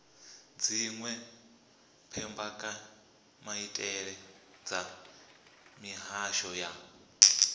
dziwe mbekanyamaitele dza mihasho ya